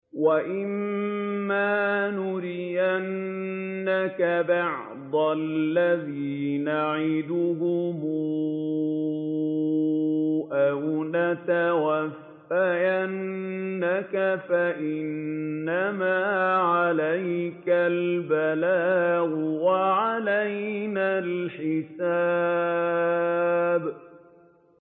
وَإِن مَّا نُرِيَنَّكَ بَعْضَ الَّذِي نَعِدُهُمْ أَوْ نَتَوَفَّيَنَّكَ فَإِنَّمَا عَلَيْكَ الْبَلَاغُ وَعَلَيْنَا الْحِسَابُ